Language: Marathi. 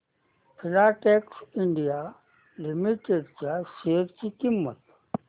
फिलाटेक्स इंडिया लिमिटेड च्या शेअर ची किंमत